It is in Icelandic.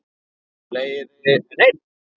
Fleiri en einn?